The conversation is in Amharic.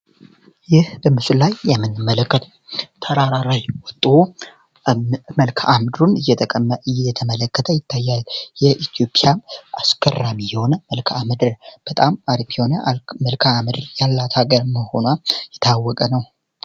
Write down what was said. ይህ እምስል ላይ እምትመለከቱት ተራራ ላይ ወጦ መልካምድሩን እየተመለከተ ይታያል ።ይህ የኢትዮጵያ አስገራሚ የሆነ መልካምድር በጣም አርኪ የሆነ መልክአም ምድር ያላት ሀገር መሆኗ የታወቀ ነዉ።